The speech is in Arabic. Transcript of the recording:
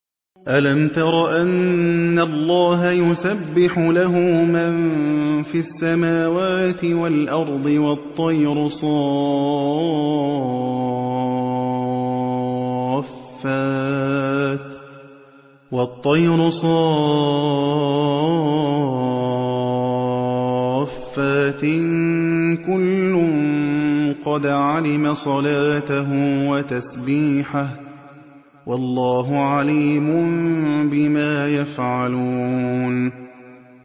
أَلَمْ تَرَ أَنَّ اللَّهَ يُسَبِّحُ لَهُ مَن فِي السَّمَاوَاتِ وَالْأَرْضِ وَالطَّيْرُ صَافَّاتٍ ۖ كُلٌّ قَدْ عَلِمَ صَلَاتَهُ وَتَسْبِيحَهُ ۗ وَاللَّهُ عَلِيمٌ بِمَا يَفْعَلُونَ